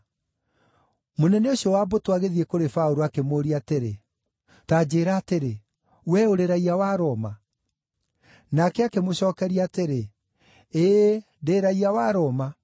Mũnene ũcio wa mbũtũ agĩthiĩ kũrĩ Paũlũ, akĩmũũria atĩrĩ, “Ta njĩĩra atĩrĩ, wee ũrĩ raiya wa Roma?” Nake akĩmũcookeria atĩrĩ, “Ĩĩ, ndĩ raiya wa Roma.”